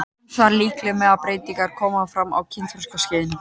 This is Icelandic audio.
Ýmsar líkamlegar breytingar koma fram á kynþroskaskeiðinu.